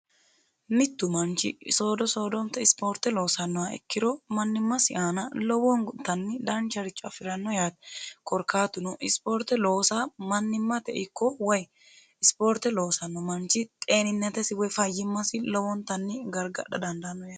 mittu manchi soodo soodonite ispoorte loosannoha ikkiro mannimmasi aana lowoonguntanni daancharicho afi'ranno yaate korkaatuno ispoorte loosa mannimmate ikko way ispoorte loosanno manchi xeeninnetesi woy fayyimmasi lowoontanni gargadha dandaanno yaate